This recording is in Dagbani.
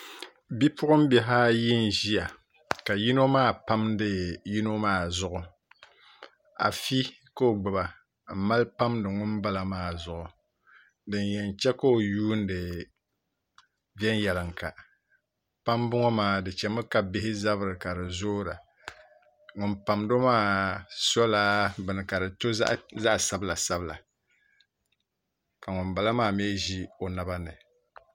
Bipuɣunbihi ayi n ʒiya ka yino maa pamdi yino maa zuɣu afi ka i gbuba n mali pamdi ŋun bala maa zuɣu din yɛn chɛ ka o yuundi viɛnyɛlinga pambu ŋo maa di chɛmi ka bihi zabiri ka di zoora ŋun pamdo maa sola bini ka di to zaɣ sabila sabila ka ŋunbala maa mii ʒi o naba ni